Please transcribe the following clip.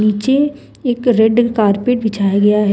नीचे एक red carpet बिछाया गया है ।